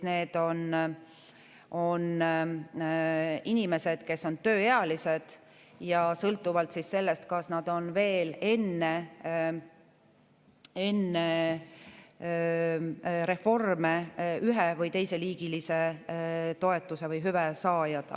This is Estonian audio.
Need on inimesed, kes on tööealised, ja sõltuvalt sellest, kas nad on veel enne reforme ühe- või teiseliigilise toetuse või hüve saajad.